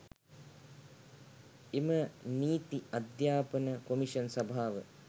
එම නීති අධ්‍යාපන කොමිෂන් සභාව